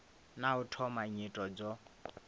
na u thoma nyito dzo